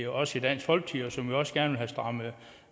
os i dansk folkeparti og som vi også gerne vil have strammet